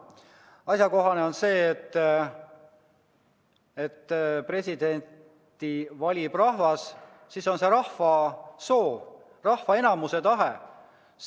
Asjakohane on see, et kui presidenti valib rahvas, siis on see rahva soov, rahva enamuse tahe.